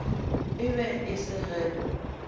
e be e se ge